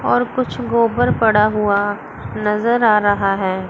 और कुछ गोबर पड़ा हुआ नजर आ रहा है।